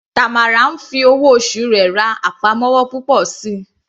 Tamara ń fi owó oṣù rẹ̀ ra àpamọ́wọ́ púpọ̀ síi.